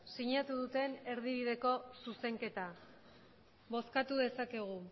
sinatu duten erdibideko zuzenketa bozkatu dezakegu